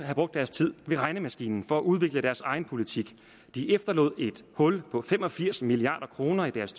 deres tid ved regnemaskinen for at udvikle deres egen politik de efterlod et hul på fem og firs milliard kroner i deres